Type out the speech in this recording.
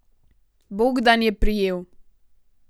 Bogdan je prijel.